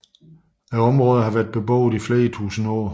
Området har været beboet i flere tusinde år